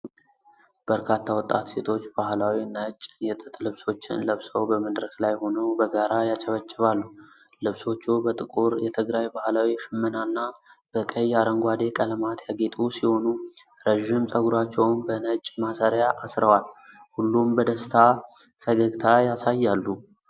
በርካታ ወጣት ሴቶች ባህላዊ ነጭ የጥጥ ልብሶችን ለብሰው በመድረክ ላይ ሆነው በጋራ ያጨበጭባሉ። ልብሶቹ በጥቁር የትግራይ ባህላዊ ሽመናና በቀይ አረንጓዴ ቀለማት ያጌጡ ሲሆኑ፤ ረዥም ፀጉራቸውን በነጭ ማሰሪያ አስረዋል። ሁሉም በደስታ ፈገግታ ያሳያሉ።